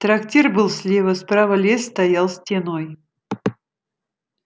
трактир был слева справа лес стоял стеной